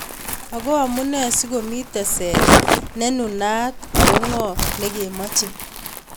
Ako amune sikomi teset nenunot ako ngo negemache?